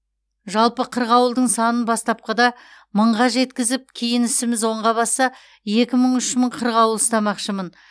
жалпы қырғауылдың санын бастапқыда мыңға жеткізіп кейін ісіміз оңға басса екі мың үш мың қырғауыл ұстамақшымын